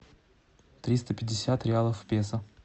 триста пятьдесят реалов в песо